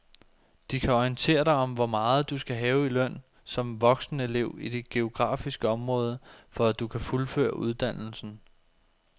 De kan orientere dig om hvor meget du skal have i løn som voksenelev i dit geografiske område, for at du kan fuldføre uddannelsen.